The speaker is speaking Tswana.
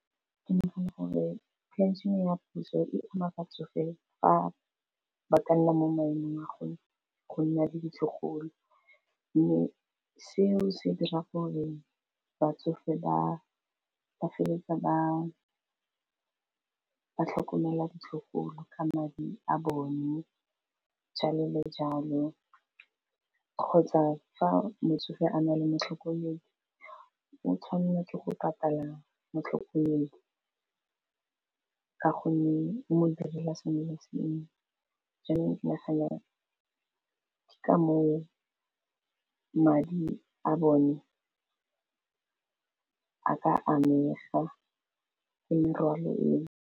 Ke nagana gore pension-e ya puso e ama batsofe fa ba ka nna mo maemong a go nna le ditlogolo, mme seo se dira gore batsofe ba feleletsa ba tlhokomela ditlogolo ka madi a bone jalo le jalo kgotsa fa motsofe a na le matlhokomedi o tshwanelwa ke go patala motlhokomedi ka gonne o modirela sengwe le sengwe, jaanong ke nagana ke ka moo madi a bone a ka amega merwalo eo.